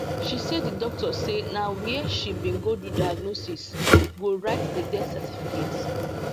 she say di doctor say na wia she bin go do diagnosis go write di death certificate